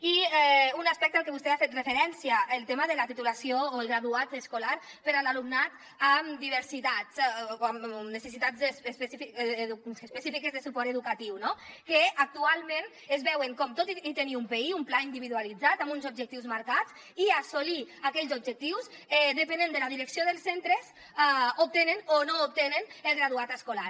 i un aspecte al que vostè ha fet referència el tema de la titulació o el graduat escolar per a l’alumnat amb diversitats o amb necessitats específiques de suport educatiu no que actualment es veu com tot i tenir un pi un pla individualitzat amb uns objectius marcats i assolir aquells objectius depenent de la direcció dels centres obtenen o no obtenen el graduat escolar